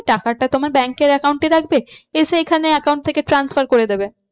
টাকাটা তোমার bank এর account এ রাখবে এসে এখানে account থেকে transfer করে দেবে।